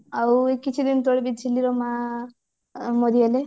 ଆଉ କିଛି ଦିନ ତଳେ ବି ଝିଲିର ମା ମରିଗଲେ